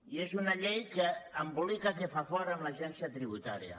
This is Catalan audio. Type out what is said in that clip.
i és una llei que embolica que fa fort amb l’agència tributària